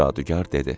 Cadugar dedi: